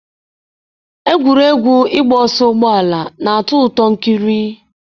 Egwuregwu ịgba ọsọ ụgbọ ala na-atọ ụtọ ikiri.